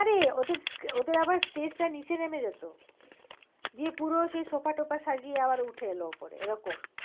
আরে ওদের ওদের আবার stage টা নিচে নেমে যেত। গিয়ে পুরো সেই সোফা টোফা সাজিয়ে আবার উঠে এল উপরে এরকম